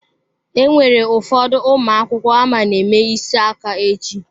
Enwere ụfọdụ ụmụ akwụkwọ ama na-eme isi aka echi.